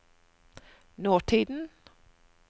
nåtiden